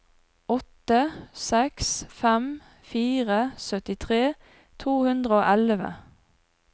åtte seks fem fire syttitre to hundre og elleve